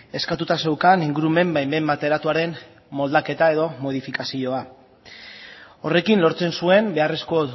eskatuta zeukan ingurumen baimen bateratuaren moldaketa edo modifikazioa horrekin lortzen zuen beharrezko